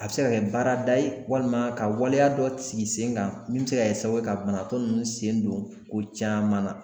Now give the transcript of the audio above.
A bɛ se ka kɛ baarada ye walima ka waleya dɔ sigi sen kan min bɛ se ka kɛ sababu ka banatɔ ninnu sen don ko caman na